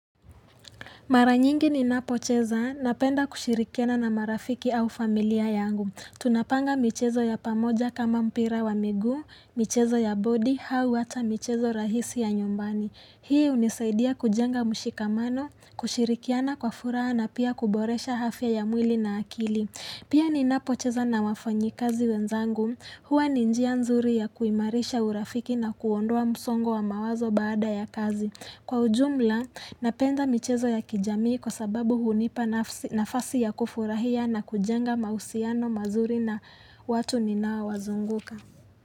Mara nyingi ninapocheza napenda kushirikiana na marafiki au familia yangu. Tunapanga michezo ya pamoja kama mpira wa miguu, michezo ya bodi, au hata michezo rahisi ya nyumbani. Hii hunisaidia kujenga mshikamano, kushirikiana kwa furaha na pia kuboresha afya ya mwili na akili. Pia ninapocheza na wafanyikazi wenzangu. Hua ni njia nzuri ya kuimarisha urafiki na kuondoa msongo wa mawazo baada ya kazi. Kwa ujumla, napenda michezo ya kijamii kwa sababu hunipa nafasi ya kufurahia na kujenga mahusiano mazuri na watu ninaowazunguka.